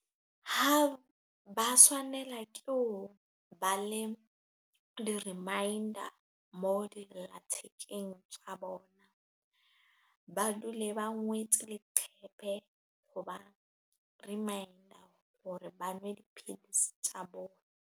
Ha ba swanela ke ho ba le di-reminder mo di tja bona, ba dule ba ngwetse leqhepe ho ba reminder hore ba nwe dipidisi tja bona.